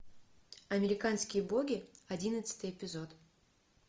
американские боги одиннадцатый эпизод